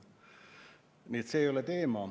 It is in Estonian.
Nii et see ei ole teema.